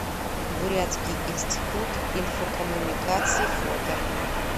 бурятский институт инфокоммуникаций фото